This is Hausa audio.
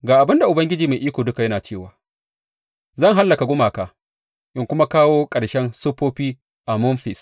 Ga abin da Ubangiji Mai Iko Duka yana cewa, Zan hallaka gumaka in kuma kawo ƙarshen siffofi a Memfis.